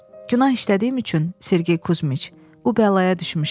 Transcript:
Günah işlədiyim üçün, Sergey Kuzmiç, bu bəlaya düşmüşəm.